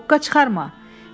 Hoqqa çıxarma.